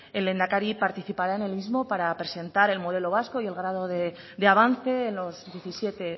el lehendakari participará en el mismo para presentar el modelo vasco y el grado de avance en los diecisiete